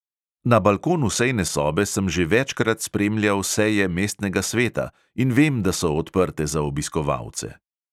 Na balkonu sejne sobe sem že večkrat spremljal seje mestnega sveta in vem, da so odprte za obiskovalce.